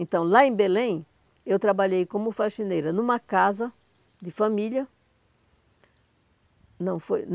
Então, lá em Belém, eu trabalhei como faxineira numa casa de família. Não, foi